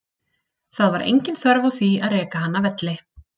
Það var engin þörf á því að reka hann af velli.